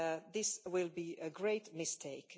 This will be a great mistake.